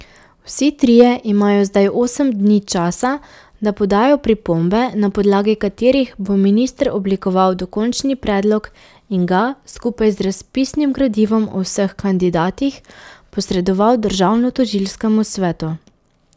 Vsi trije imajo zdaj osem dni časa, da podajo pripombe, na podlagi katerih bo minister oblikoval dokončni predlog in ga, skupaj z razpisnim gradivom o vseh kandidatih, posredoval državnotožilskemu svetu.